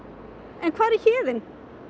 en hvar er Héðinn